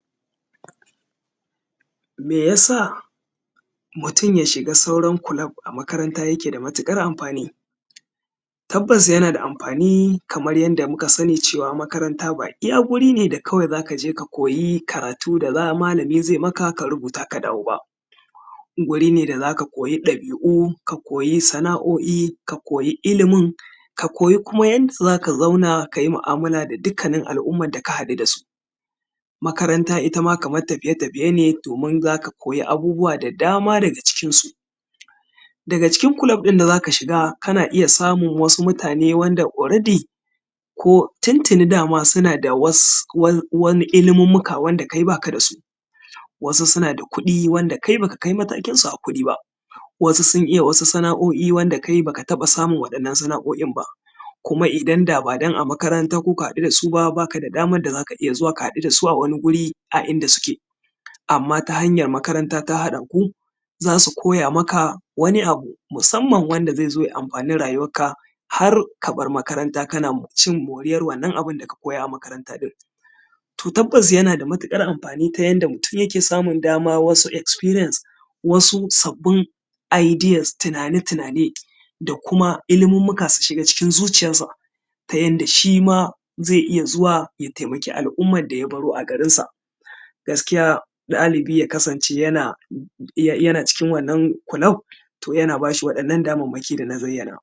Meyasa mutum ya shiga sauran club a makaranta yake da matuƙar amfani? Tabbas yana da amfani kamar yadda muka sani cewa makaranta ba iya wuri ne da kawai za ka je ka koyi karatu da malami zai maka ka rubuta ka dawo ba. Guri ne da za ka koyi ɗabi’u, ka koyi sana’o’i, ka koyi ilimin, ka koyi kuma yanda zaka zauna ka yi mu’amala da dukkannin al’umman da ka haɗu da su. Makaranta itama Kaman tafiye-tafiye ne domin za ka koyi abubuwa da dama daga cikinsu. Daga cikin club ɗin da za ka shiga, kana iya samun wasu mutane wanda already ko tuntuni dama suna da wasu wani ilimummuka wanda kai baka da su. Wasu suna da kuɗi wanda kai baka kai matsayinsu a kuɗi ba, wasu sun iya wasu sana’o’i wanda kai baka taɓa samun wannan sana’o’in ba, kuma idan da ba dan a makaranta kuka haɗu da su, baka da daman da za ka iya zuwa ka haɗu da su a wani wuri a inda suke. Amma ta hanyar makaranta ta haɗa ku, za su koya maka wani abu, musamman wanda zai zo ya amfani rayuwarka har ka bar makaranta kana cin moriyar wannan abin da ka koya a makaranta ɗin. To tabbas yana da matuƙar amfani ta yanda mutum yana samun dama wasu experience, wasu sabbin ideas tunane-tunane, da kuma ilmummuka su shiga cikin zuciyansa ta yanda shi ma zai iya zuwa ya taimaki al’umman da ya baro a garinsa. Gaskiya ɗalibi ya kasance yana iya cikin wannan club to yana bashi waɗannan damammaki da na zayyana.